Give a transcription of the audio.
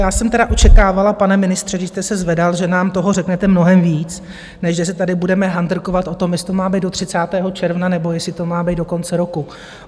Já jsem teda očekávala, pane ministře, když jste se zvedal, že nám toho řeknete mnohem víc, než že se tady budeme handrkovat o tom, jestli to má být do 30. června, nebo jestli to má být do konce roku.